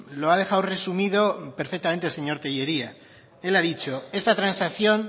lo ha dejado resumido perfectamente el señor tellería él ha dicho esta transacción